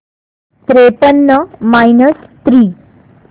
त्रेपन्न minus three